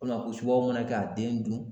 U bɛna ko subagaw mana kɛ ka den dun!